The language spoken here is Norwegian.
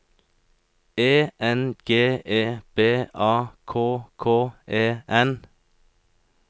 E N G E B A K K E N